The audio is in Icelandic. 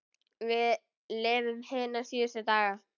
Við lifum hina síðustu daga.